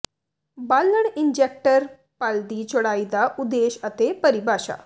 ਬਾਲਣ ਇੰਜੈਕਟਰ ਪੱਲ ਦੀ ਚੌੜਾਈ ਦਾ ਉਦੇਸ਼ ਅਤੇ ਪਰਿਭਾਸ਼ਾ